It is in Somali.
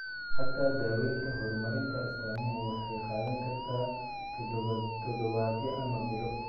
Xataa daawaynta, horumarinta astaamuhu waxay qaadan kartaa toddobaadyo ama bilo.